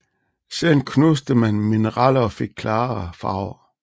Siden knuste man mineraler og fik klarere farver